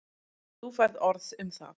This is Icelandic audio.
Þú færð orð um það.